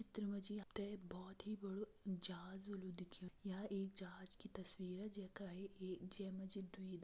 चित्र मा जी आप तें बहोत ही बड़ु जहाज होलु दिख्येंण यह एक जहाज की तस्वीर जेका जै मा जी दुई --